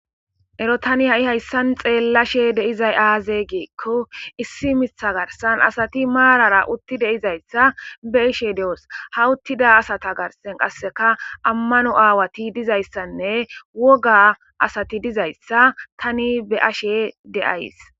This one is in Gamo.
Ero Tani hayisan xellashe dizzaysi aze gikko issi Mitha garsan asati marara uttidaysa be'ishe dos. Ha uttida asata gathan amano awayi de'izaysa woga asati dizaysa tani be'ashe de'aysi